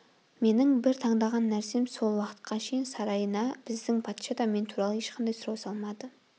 менің бір таңданған нәрсем сол уақытқа шейін сарайына біздің патша да мен туралы ешқандай сұрау салмады